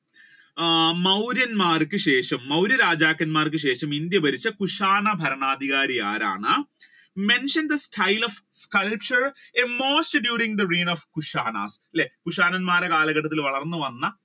ആഹ് മൗര്യൻമാർക്ക് ശേഷം മൗര്യ രാജാക്കന്മാർക്ക് ശേഷം ഇന്ത്യ ഭരിച്ച കുഷാണ ഭരണാധികാരി ആരാണ്? mention the style of culture during the reign of Kushana അല്ലെ കുഷാണൻമാരുടെ കാലഘട്ടത്തിൽ വളർന്നു വന്ന